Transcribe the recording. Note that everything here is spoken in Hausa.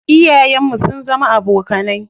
Iyayen mu sun zama abokanai.